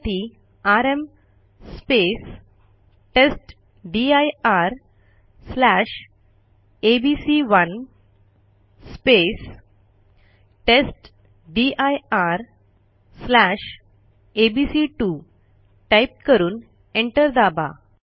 त्यासाठी आरएम testdirएबीसी1 testdirएबीसी2 टाईप करून एंटर दाबा